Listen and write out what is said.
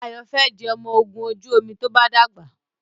Ayo fè di ọmọ ògún ojú omi to bá dàgbà.